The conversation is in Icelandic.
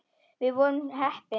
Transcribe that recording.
Við vorum heppni.